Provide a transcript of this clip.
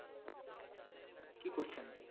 কি করছেন?